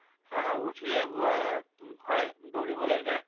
অ, উঠিয়ে ব হয় দৌৰিবলৈ যায়